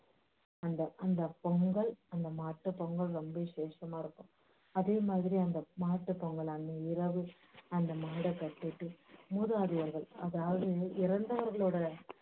அந்த அந்த பொங்கல் அந்த மாட்டுப் பொங்கல் ரொம்ப விஷேசமாயிருக்கும் அதே மாதிரி அந்த மாட்டுப் பொங்கல் அன்னைய இரவு அந்த மாடை கட்டிட்டு மூதாதையர்கல் அதாவது இறந்தவர்களோட